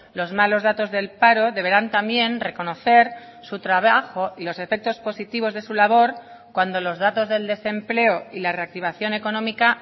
los malos datos del paro deberán también reconocer su trabajo y los efectos positivos de su labor cuando los datos del desempleo y la reactivación económica